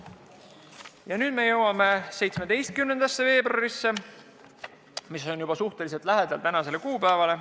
Ja nüüd me jõuame 17. veebruarisse, mis on juba suhteliselt lähedal tänasele kuupäevale.